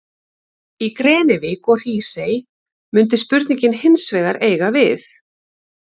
Í Grenivík og Hrísey mundi spurningin hins vegar eiga við.